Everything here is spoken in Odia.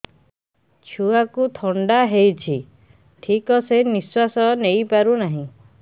ଛୁଆକୁ ଥଣ୍ଡା ହେଇଛି ଠିକ ସେ ନିଶ୍ୱାସ ନେଇ ପାରୁ ନାହିଁ